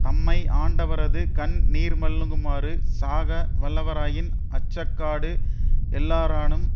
தம்மை ஆண்டவரது கண் நீர்மல்குமாறு சாக வல்லாராயின் அச்சாக்காடு எல்லாரானும்